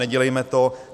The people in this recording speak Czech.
Nedělejme to.